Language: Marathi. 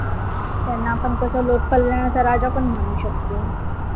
त्यांना आपण कसं लोक कल्याणचा राजा पण म्हणु शकतो,